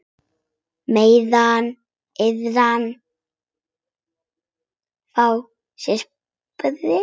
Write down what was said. Meðan aðrir fá sér sprett?